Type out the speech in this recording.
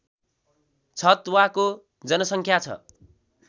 छतवाको जनसङ्ख्या छ